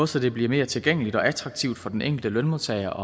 så det bliver mere tilgængeligt og attraktivt for den enkelte lønmodtager